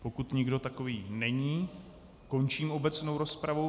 Pokud nikdo takový není, končím obecnou rozpravu.